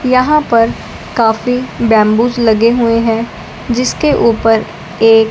यहां पर काफी बैम्बूस लगे हुए हैं जिसके ऊपर एक--